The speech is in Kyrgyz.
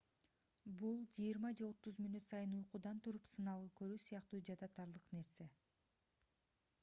бул жыйырма же отуз мүнөт сайын уйкудан туруп сыналгы көрүү сыяктуу жадатарлык нерсе